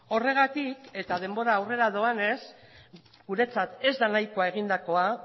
horregatik eta denbora aurrera doanez guretzat ez da nahikoa egindakoa